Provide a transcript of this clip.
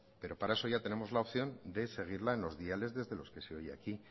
pero para eso ya tenemos la opción de seguirla en los diales desde los que se oye aquí